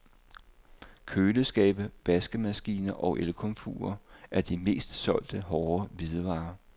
Køleskabe, vaskemaskiner og elkomfurer er de mest solgte hårde hvidevarer.